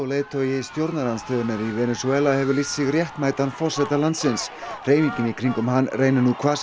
leiðtogi stjórnarandstöðunnar í Venesúela hefur lýst sig réttmætan forseta landsins hreyfingin í kringum hann reynir nú hvað